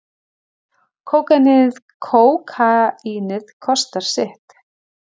Kókaínið kostar sitt